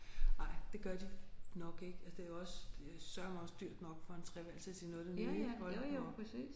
Nej det gør de nok ikke altså det er jo også det er søreme også dyrt nok for en treværelses i noget af det nye ik hold nu op